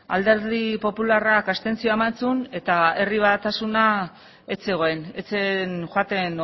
alderdi popularrak abstentzioa eman zuen eta herri batasuna ez zegoen ez zen joaten